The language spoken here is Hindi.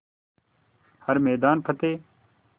हर मैदान फ़तेह